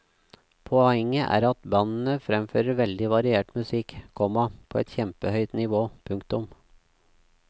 Poenget er at at bandene fremfører veldig variert musikk, komma på et kjempehøyt nivå. punktum